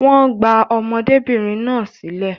Wọ́n gba ọmọdébìnrin náà sílẹ̀